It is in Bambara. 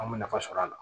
An bɛ nafa sɔrɔ a la